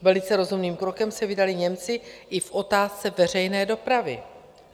Velice rozumným krokem se vydali Němci i v otázce veřejné dopravy.